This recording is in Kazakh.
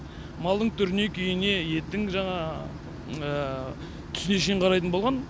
малдың түріне күйіне еттің жаңа түсіне шейін қарайтын болған